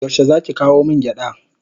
Yaushe zaki kawo min gyada?